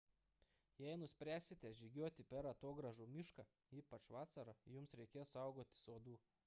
jei nuspręsite žygiuoti per atogrąžų mišką ypač vasarą jums reikės saugotis uodų